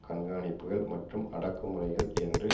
கண்காணிப்புக்கள் மற்றும் அடக்கு முறைகள் என்று